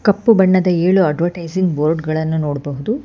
ಕಪ್ಪು ಬಣ್ಣದ ಏಳು ಅಡ್ವಟೈಸಿಂಗ್ ಬೋರ್ಡ್ಗಳನ್ನು ನೋಡಬಹುದು.